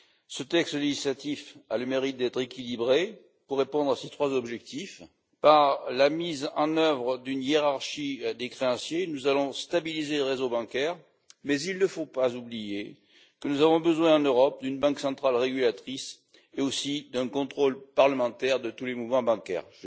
Ce texte législatif a le mérite d'être équilibré pour répondre à ces trois objectifs. Par la mise en œuvre d'une hiérarchie des créanciers, nous allons stabiliser le réseau bancaire, mais il ne faut pas oublier que nous avons besoin en Europe d'une banque centrale régulatrice ainsi que d'un contrôle parlementaire de tous les mouvements bancaires.